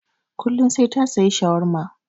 Kullum sai ta saya shawarma.